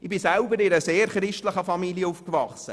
Ich bin selber in einer sehr christlichen Familie aufgewachsen.